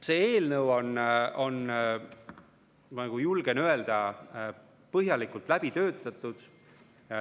See eelnõu on, ma julgen seda öelda, põhjalikult läbi töötatud.